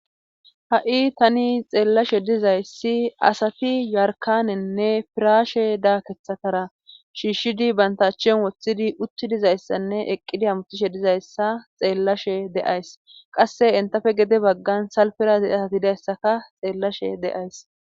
ha7i tani xeellashe dizayssi asati yarkanennne piraashe daakeththatara shiishshidi banta achchan woththidi utti dizayssanne eqqidi hamutishe dizayssa xeellashe de7ays qasse entafe gede baggan salfera diza asati dizayssaka xeellashe de7ays